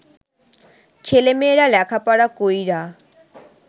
ছেলেমেয়েরা লেখাপড়া কইরা